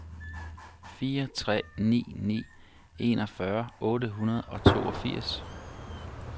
fire tre ni ni enogfyrre otte hundrede og toogfirs